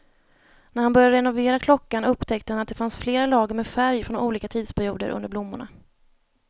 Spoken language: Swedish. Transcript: När han började renovera klockan upptäckte han att det fanns flera lager med färg från olika tidsperioder under blommorna.